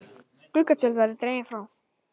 Gluggatjöld verði dregin frá